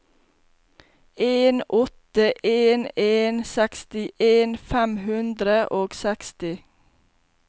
en åtte en en sekstien fem hundre og seksti